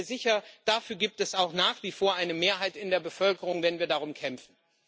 Und ich bin mir sicher Dafür gibt es auch nach wie vor eine Mehrheit in der Bevölkerung, wenn wir darum kämpfen.